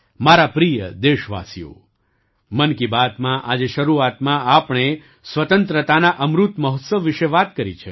મારા પ્રિય દેશવાસીઓ મન કી બાતમાં આજે શરૂઆતમાં આપણે સ્વતંત્રતાના અમૃત મહોત્સવ વિશે વાત કરી છે